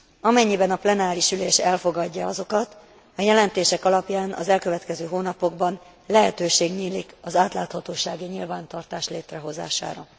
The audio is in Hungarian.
Amennyiben a plenáris ülés elfogadja azokat, a jelentések alapján az elkövetkező hónapokban lehetőség nyílik az átláthatósági nyilvántartás létrehozására.